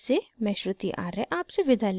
I I T Bombay से मैं श्रुति आर्य आपसे विदा लेती हूँ